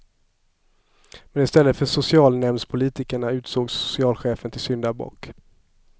Men i stället för socialnämndspolitikerna utsågs socialchefen till syndabock.